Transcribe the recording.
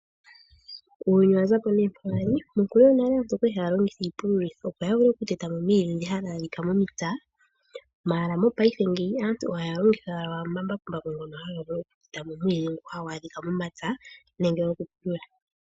Uuyuni owa zako hoka wa li. Monkulu yonale aantu okwa li haya longitha iipululo opo ya vule okuteta mo oomwiidhi dhoka hadhi adhika mo mepya. Ashike mo paife aantu ohaya longitha owala omambakumbaku ngoka haga vulu okuteta mo oomwiidhi ngoka hagu adhika mo mepya.